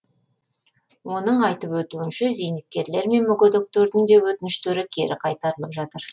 оның айтып өтуінше зейнеткерлер мен мүгедектердің де өтініштері кері қайтарылып жатыр